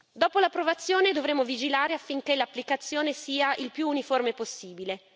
Dopo l'approvazione dovremo vigilare affinché l'applicazione sia il più uniforme possibile.